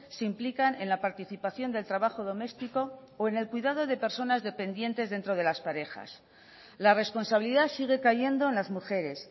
se implican en la participación del trabajo doméstico o en el cuidado de personas dependientes dentro de las parejas la responsabilidad sigue cayendo en las mujeres